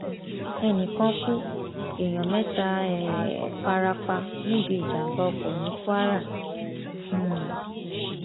ẹnì kan kú èèyàn mẹta um fara pa níbi ìjàmbá ọkọ ní kwara um